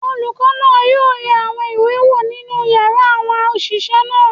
Olùkọ́ náà yóò yẹ àwọn ìwé wò nínú yàrá àwọn òṣìṣẹ́ náà.